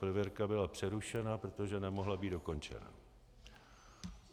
Prověrka byla přerušena, protože nemohla být dokončena.